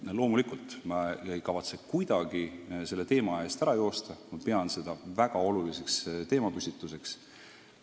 Loomulikult ma ei kavatse kuidagi selle teema eest ära joosta, ma pean seda väga oluliseks teemapüstituseks.